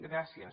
gràcies